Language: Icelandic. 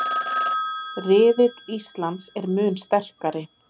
Riðill Íslands er mun sterkari